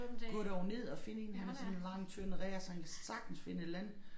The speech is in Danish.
Gå dog ned og find én han er sådan lang tynd rær så han kan sagtens finde et eller andet